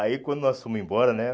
Aí quando nós fomos embora, né?